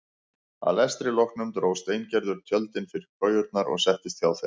Að lestri loknum dró Steingerður tjöldin fyrir kojurnar og settist hjá þeim.